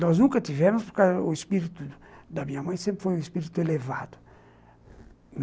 Nós nunca tivemos, porque o espírito da minha mãe sempre foi um espírito elevado.